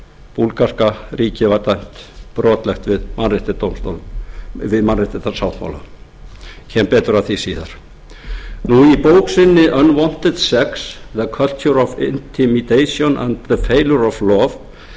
búlgarska ríkið var dæmt brotlegt við mannréttindasáttmálann ég kem betur að því síðar í bók sinni unwanted sex the culture of intimidation and the failure of law leggur